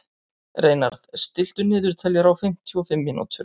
Reynarð, stilltu niðurteljara á fimmtíu og fimm mínútur.